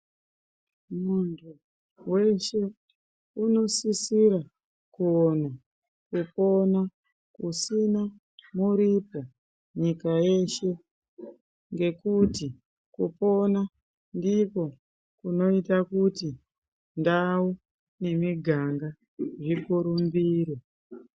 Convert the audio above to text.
Mundu weshee unosisirwa kuwana pekupona kusina muripo nyika yeshee ngokuti kupona ndiko kunoita kuti ndawu nemiganga zvikurumbire.